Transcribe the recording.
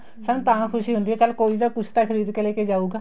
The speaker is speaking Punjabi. ਸਾਨੂੰ ਤਾਂ ਖੁਸ਼ੀ ਹੁੰਦੀ ਚੱਲ ਕੋਈ ਤਾਂ ਕੁੱਛ ਤਾਂ ਖ਼ਰੀਦ ਕੇ ਲੈਕੇ ਜਾਉਗਾ